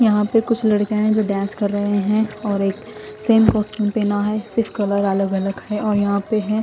यहा पे कुछ लडके है जो डांस कर रहे है और एक सेम कोस्तियम पहना है सिर्फ कलर अलग अलग है और यहा पे है।